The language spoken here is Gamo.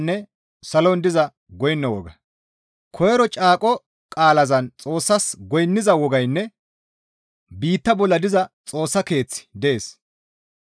Koyro caaqo qaalazan Xoossas goynniza wogaynne biitta bolla diza Xoossa Keeththi dees.